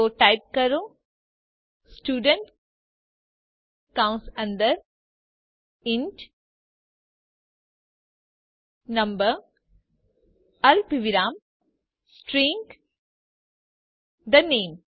તો ટાઇપ કરો સ્ટુડન્ટ કૌંસ અંદર ઇન્ટ નંબર અલ્પવિરામ સ્ટ્રીંગ the name